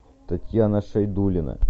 татьяна шайдулина